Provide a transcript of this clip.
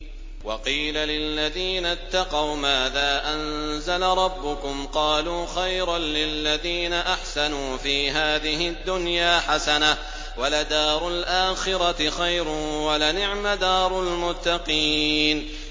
۞ وَقِيلَ لِلَّذِينَ اتَّقَوْا مَاذَا أَنزَلَ رَبُّكُمْ ۚ قَالُوا خَيْرًا ۗ لِّلَّذِينَ أَحْسَنُوا فِي هَٰذِهِ الدُّنْيَا حَسَنَةٌ ۚ وَلَدَارُ الْآخِرَةِ خَيْرٌ ۚ وَلَنِعْمَ دَارُ الْمُتَّقِينَ